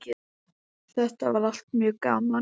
Þetta var allt mjög gaman.